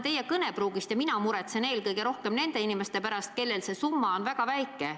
Teiseks, mina muretsen eelkõige nende inimeste pärast, kellel see summa on väga väike.